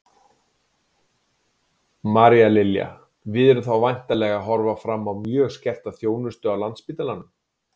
María Lilja: Við erum þá væntanlega að horfa fram á mjög skerta þjónustu á Landspítalanum?